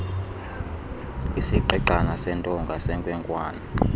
isigqigqana sentonga senkwenkwana